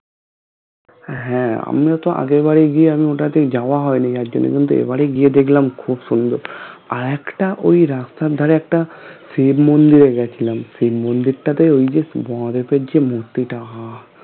হ্যাঁ আমরাতো আগের বারে গিয়ে আমি ওটাতে যাওয়া হয়নি এখনো পর্যন্ত এবারে গিয়ে দেখলাম খুব সুন্দর আর একটা ওই রাস্তার ধারে একটা শিব মন্দিরে গিয়েছিলাম শিব মন্দিরতাতো ওই যে উপর যে মূর্তিটা আহঃ